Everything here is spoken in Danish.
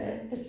Ja